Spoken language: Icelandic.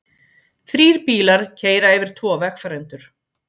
Þrír bílar keyra yfir tvo vegfarendur